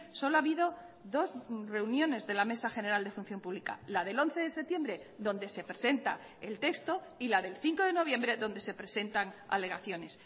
solo ha habido dos reuniones de la mesa general de función pública la del once de septiembre donde se presenta el texto y la del cinco de noviembre donde se presentan alegaciones